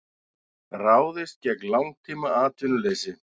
Ráðist gegn langtímaatvinnuleysi